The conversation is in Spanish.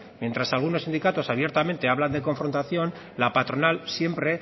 mientras algunos sindicatos abiertamente hablan de confrontación la patronal siempre